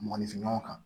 Mɔgɔninfin ɲɔgɔnw kan